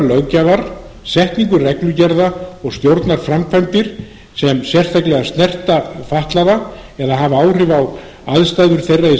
löggjafar setningu reglugerða og stjórnarframkvæmdir sem sérstaklega snerta fatlaða eða hafa áhrif á aðstæður þeirra í